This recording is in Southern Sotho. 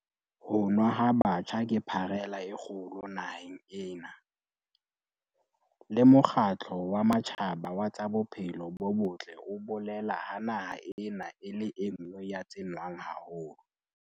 Ho nwa ha batjha ke pharela e kgolo naheng ena, le Mokgatlo wa Matjhaba wa tsa Bophelo bo Botle o bolela ha naha ena e le e nngwe ya tse nwang haholo.